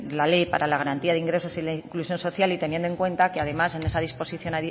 la ley para la garantía de ingresos y la inclusión social y teniendo en cuenta que además en